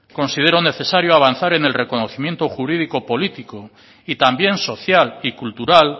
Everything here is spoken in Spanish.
considero necesario avanzar en el reconocimiento jurídico político y también social y cultural